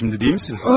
İndi deyilsiniz?